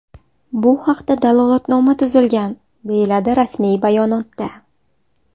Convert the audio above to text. Bu haqda dalolatnoma tuzilgan”, deyiladi rasmiy bayonotda.